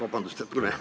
Vabandust!